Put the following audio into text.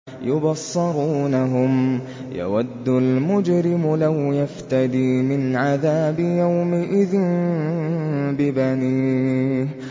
يُبَصَّرُونَهُمْ ۚ يَوَدُّ الْمُجْرِمُ لَوْ يَفْتَدِي مِنْ عَذَابِ يَوْمِئِذٍ بِبَنِيهِ